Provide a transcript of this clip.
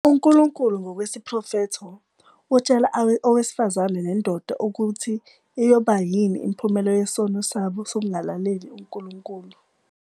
UNkulunkulu ngokwesiprofetho utshela owesifazane nendoda ukuthi iyoba yini imiphumela yesono sabo sokungalaleli uNkulunkulu.